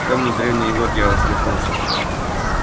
вспомнив древний анекдот я усмехнулся